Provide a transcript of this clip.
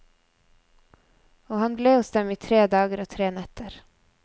Og han blir hos dem i tre dager og tre netter.